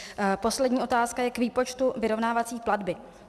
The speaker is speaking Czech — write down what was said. Poslední otázka je k výpočtu vyrovnávací platby.